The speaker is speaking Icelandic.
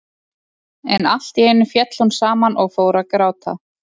En allt í einu féll hún saman og fór að gráta.